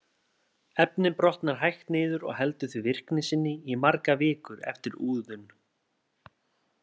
Efnið brotnar hægt niður og heldur því virkni sinni í margar vikur eftir úðun.